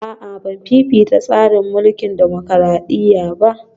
A'a Ban fifita tsarin mulkin dimokradiyya ba